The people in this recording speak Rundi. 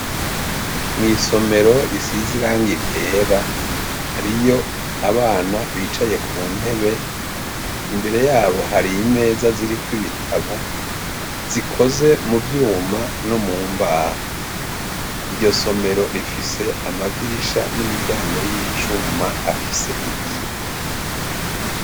Mw' isomero risiz'irangi ryera hariy' abanyeshure bicaye ku nteb' imbere yabo har' imeza zirik'ibitabo zikoze mu vyuma no mumbaho, iryo somero rifis' amadirisha n'imiryango y'icum' afis' ibiyo, imbere yabo har' umunyeshur' umw' arik' aratambuk' asohoka hanze, barikwig' ubonako bari kwitegurir' ikibazo.